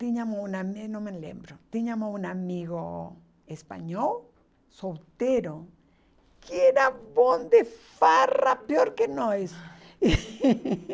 Tínhamos um amigo, não me lembro, tínhamos um amigo espanhol, solteiro, que era bom de farra, pior que nós